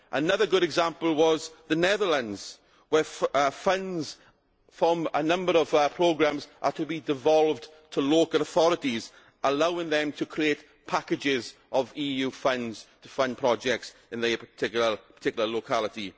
Another good example was the Netherlands, where funds from a number of programmes are to be devolved to local authorities, allowing them to create packages of EU funds to fund projects in their particular locality.